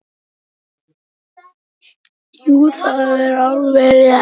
Jú, það er alveg rétt.